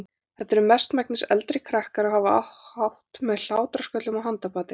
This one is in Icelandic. Þetta eru mestmegnis eldri krakkar og hafa hátt með hlátrasköllum og handapati.